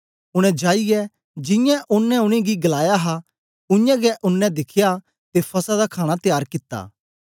उनै जाईयै जियां ओनें उनेंगी गलाया हा उयांगै उनै दिखया ते फसह दा खाणा त्यार कित्ता